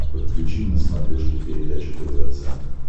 подключи на смотрешке передачу тв центр